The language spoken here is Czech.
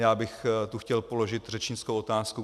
Já bych tu chtěl položit řečnickou otázku.